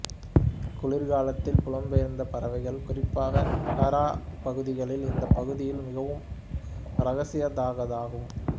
குளிர்காலத்தில் புலம் பெயர்ந்த பறவைகள் குறிப்பாக ஹோர் பகுதிகளில் இந்த பகுதியில் மிகவும் இரசிக்கத்தகதாகும்